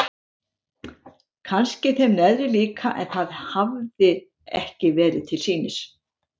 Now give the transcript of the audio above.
Kannski þeim neðri líka en það hafði ekki verið til sýnis.